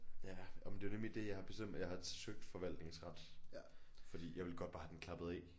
Ja og men det er nemlig det jeg har bestemt mig jeg har søgt forvaltningsret fordi jeg ville godt bare have den klappet af